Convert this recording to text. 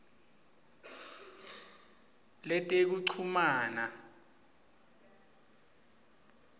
letekuchumana